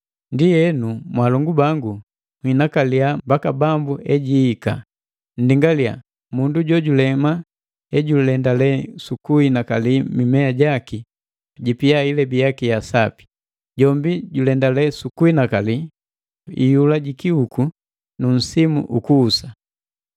Ndienu, mwaalongu bangu nhinakaliya mbaka Bambu ejiihika. Nndingaliya mundu jojulema ejulendale sukuhinakali mimea jaki jipia ilebi yaki ya sapi. Jombi julendale sukuhinakali iyula ji kihuku nu msimu ukuhusa.